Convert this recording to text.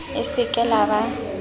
le se ke la ba